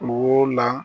Wo la